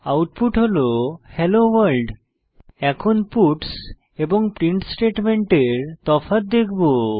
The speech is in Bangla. আউটপুট হল হেলোভোর্ল্ড এখন পাটস এবং প্রিন্ট স্টেটমেন্টের তফাৎ দেখব